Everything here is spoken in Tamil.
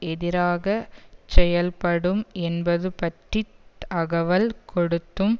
எதிராக செயல்படும் என்பது பற்றி தகவல் கொடுத்தும்